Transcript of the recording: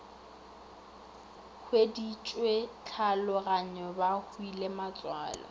hueditšwe tlhaologanyo ba hwile matswalo